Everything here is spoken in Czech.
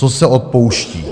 Co se odpouští?